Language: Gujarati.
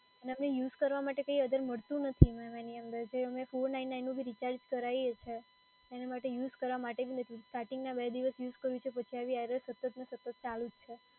અને એમાં યુઝ કરવા માટે કઈ અગર મળતું નથી, મેડમ એની અંદર. જે અમે four nine nine નું જે રિચાર્જ કરાઈએ છે, એના માટે યુઝ કરવા માટે જ નથી, starting ના બે દિવસ યુઝ કરું છું પછી આવી error સતતને સતત ચાલુ જ છે.